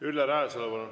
Ülle Rajasalu, palun!